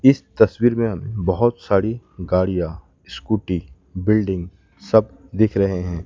इस तस्वीर में बहोत सारी गाड़ियां स्कूटी बिल्डिंग सब दिख रहे हैं।